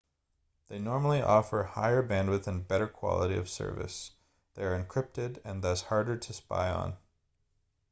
they normally offer higher bandwidth and better quality of service they are encrypted and thus harder to spy on